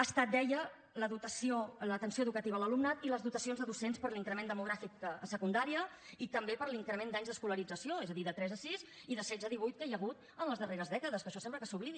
ha estat deia l’atenció educativa a l’alumnat i les dotacions de docents per l’increment demogràfic a secundària i també per l’increment d’anys d’escolarització és a dir de tres a sis i de setze a divuit que hi ha hagut en les darreres dècades que això sembla que s’oblidi